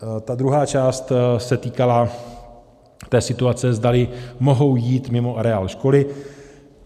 Ta druhá část se týkala té situace, zdali mohou jít mimo areál školy.